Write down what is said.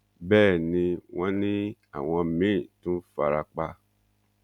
bẹẹ ni wọn ní àwọn míín tún fara pa